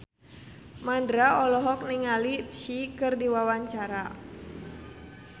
Mandra olohok ningali Psy keur diwawancara